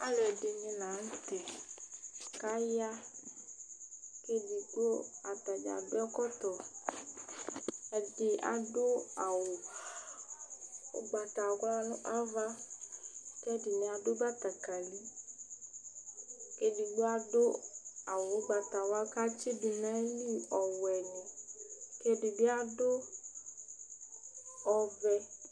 Alʋ ɛdɩnɩ la nʋ tɛ kaya:edigbo atadza adʋ ɛkɔtɔ, ɛdɩ adʋ awʋ ʋgbatawla nʋ ava, kɛdɩnɩ adʋ bǝtǝkǝliEdigbo adʋ awʋ ʋgbatawla katsɩdʋ ɔwɛ nɩ ,kɛdɩ bɩ adʋ ɔvɛ